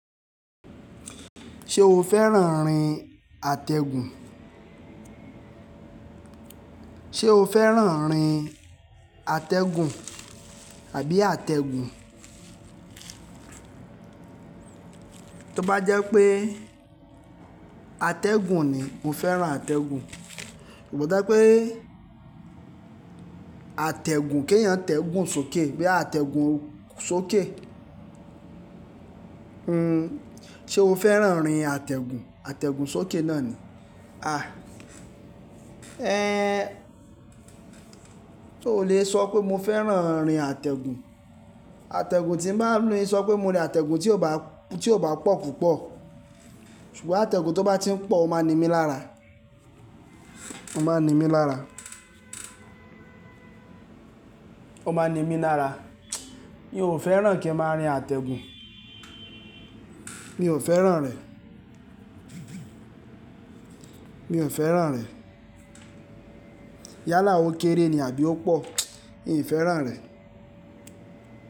Ṣé o fẹ́ràn rin àtẹ̀gùn? O fẹ́ràn rin àtẹ̀gùn àbí àtẹ̀gùn? Tí ó bá jẹ́ pé àtẹ̀gùn ni, mo fẹ́ràn àtẹ̀gùn. Kò jẹ pé àtẹ̀gùn ké èèyàn tẹ̀gùn sókè bí àtẹ̀gùn sóké. Hmm, ṣe o fẹ́ràn rin àtẹ̀gùn? Àtẹ̀gùn sókè náà ni. À! Ẹ n, o lè sọ pé mo fẹ́ràn rin àtẹ̀gùn? Àtẹ̀gùn tí ń má a ń lo yí sọ pé mo rí àtẹ̀gùn tí ò bá, tí ò bá pọ̀ púpọ̀. Ṣùgbọ́n àtẹ̀gùn tó bá ti ń pọ̀, ó máa ń ni mí lára. Ó máa ń ni mí lára. Ó máa ń ni mí lára. Mi ò fẹ́ràn kí a máa rin àtẹ̀gùn. Mi ò fẹ́ràn rẹ̀. Mi ò fẹ́ràn rẹ̀. Yálà ó kéré ni àbí ó pọ̀, mi ò fẹ́ràn rẹ̀.